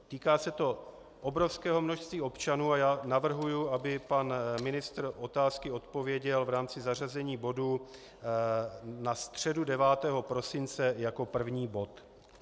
Týká se to obrovského množství občanů a já navrhuji, aby pan ministr otázky odpověděl v rámci zařazení bodu na středu 9. prosince jako první bod.